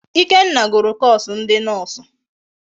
Ikenna gụrụ koosu ndi noosụ.